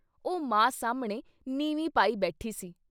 ਉਹ ਮਾਂ ਸਾਹਮਣੇ ਨੀਵੀਂ ਪਾਈ ਬੈਠੀ ਸੀ।